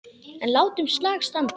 En látum slag standa.